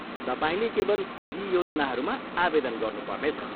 तपाईँले केवल यी योजनाहरूमा आवेदन गर्नु पर्नेछ।